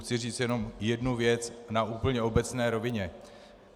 Chci říct jenom jednu věc na úplně obecné rovině.